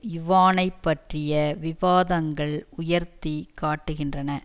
யுவானைப் பற்றிய விவாதங்கள் உயர்த்தி காட்டுகின்றன